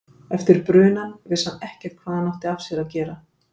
Eftir brunann vissi hann ekkert hvað hann átti af sér að gera.